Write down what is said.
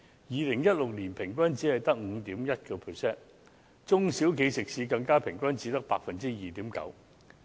2016年平均只有 5.1%， 中小企食肆更平均只有 2.9%。